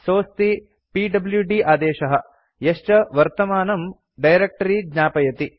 सोऽस्ति PWD आदेशः यश्च वर्तमानं डायरेक्ट्री ज्ञापयति